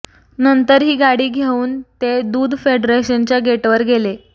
नंतर ही गाडी घेऊन ते दूध फेडरेशनच्या गेटवर गेले